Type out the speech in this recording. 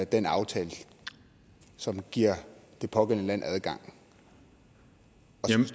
den aftale som giver det pågældende land adgang